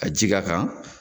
ka ji k'a kan